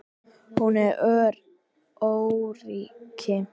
Hún er öryrki.